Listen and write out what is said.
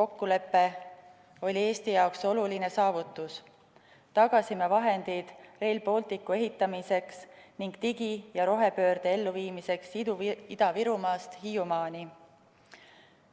kokkulepe oli Eesti jaoks oluline saavutus – tagasime vahendid Rail Balticu ehitamiseks ning digi- ja rohepöörde elluviimiseks Ida-Virumaast Hiiumaani.